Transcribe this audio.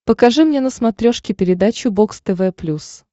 покажи мне на смотрешке передачу бокс тв плюс